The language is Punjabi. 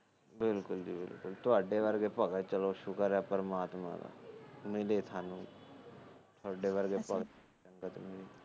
ਬਿਲਕੁਲ ਜੀ ਬਿਲਕੁਲ ਤੁਹਾਡੇ ਵਰਗੇ ਭਗਤ ਚਲੋ ਸ਼ੁਕਰ ਏ ਪਰਮਾਤਮਾ ਦਾ ਮਿਲੇ ਸਾਨੂ ਤੁਹਾਡੇ ਵਰਗੇ